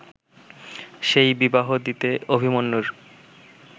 সেই বিবাহ দিতে অভিমন্যুর